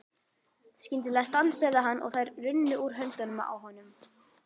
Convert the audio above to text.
Skyndilega stansaði hann og þær runnu úr höndunum á honum.